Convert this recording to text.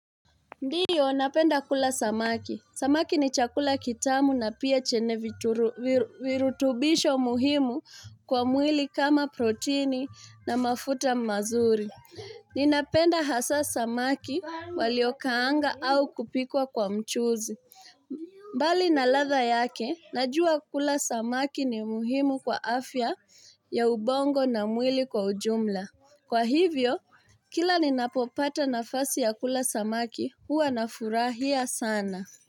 Ndio, napenda kula samaki. Samaki ni chakula kitamu na pia chene virutubisho muhimu kwa mwili kama proteini na mafuta mazuri. Ninapenda hasa samaki waliokaanga au kupikwa kwa mchuzi. Mbali na radha yake, najua kula samaki ni muhimu kwa afya ya ubongo na mwili kwa ujumla. Kwa hivyo, kila ni napopata nafasi ya kula samaki, huwa na furahia sana.